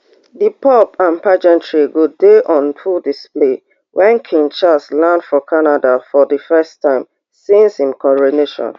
di pomp and pageantry go dey on full display wen king charles land for canada for di first time since im coronation